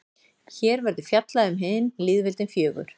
hér verður fjallað um hin lýðveldin fjögur